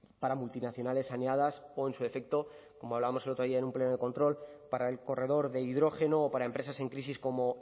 para multinacionales saneadas o en su defecto como hablábamos el otro día en un pleno de control para el corredor de hidrógeno o para empresas en crisis como